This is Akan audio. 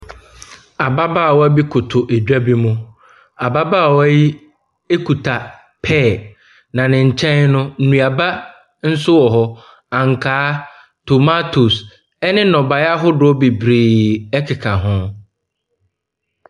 Ababaawa bi koto dwa bi mu. Ababaawa yi kita pear, na ne nkyɛn no nnuaba nso wɔ hɔ; ankaa, tomatoes, ne nnɔbaeɛ ahodoɔ bebree keka ho.